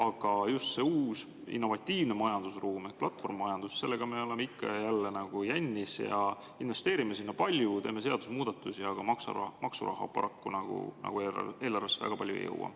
Aga just selle uue innovatiivse majandusruumi ehk platvormimajandusega me oleme ikka ja jälle jännis: me investeerime sinna palju, teeme seadusemuudatusi, aga paraku maksuraha eelarvesse nagu väga palju ei jõua.